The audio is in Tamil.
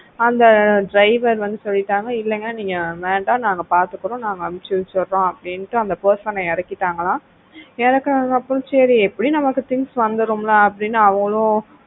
அந்த driver வந்து சொல்லிட்டாங்க இல்லைங்க நீங்க வேண்டாம் நாங்க பார்த்துக்கிறோம் நாங்க அனுப்பி வைத்துடுறோம் அப்படின்னு அந்த person அ இறக்கிட்டாங்களாம் இறக்கினதுக்கப்புறம் சரி எப்படியும் நம்ம things வந்திடும் இல்ல அப்படின்னு அவங்களும்